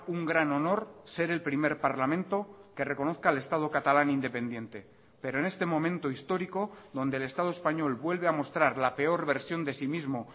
un gran honor ser el primer parlamento que reconozca el estado catalán independiente pero en este momento histórico donde el estado español vuelve a mostrar la peor versión de sí mismo